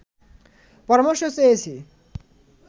পরামর্শ চেয়েছি